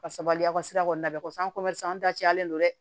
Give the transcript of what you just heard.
Ka sabali aw ka sira kɔni labɛn kɔsɔ an an dacalen don dɛ